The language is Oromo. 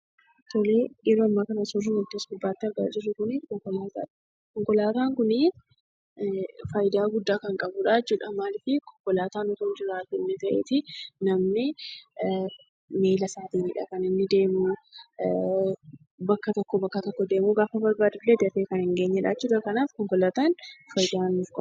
Suuraan yeroo ammaa kana asirratti argaa jirru kun suuraa konkolaataadha. Konkolaataan kun fayidaa guddaa kan qabudha jechuudha. Maaliifi konkolaataan osoo hin jiru ta'ee namni miila isaatiinidha kan inni deemu bakka tokko deemu jechuudha.